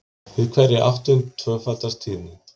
Við hverja áttund tvöfaldast tíðnin.